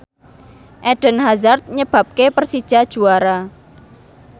Eden Hazard nyebabke Persija juara